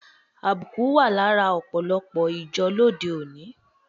Àbùkù wa lára òpòlòpò ìjo lóde oni